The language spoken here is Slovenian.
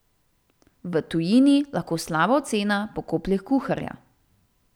V tujini lahko slaba ocena pokoplje kuharja.